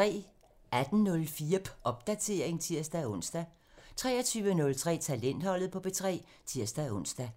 18:04: Popdatering (tir-ons) 23:03: Talentholdet på P3 (tir-ons)